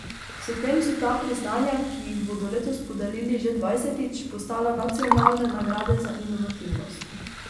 S tem so ta priznanja, ki jih bodo letos podelili že dvajsetič, postala nacionalne nagrade za inovativnost.